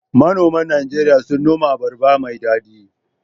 Manoman Najeriya suna noman abarba mai daɗi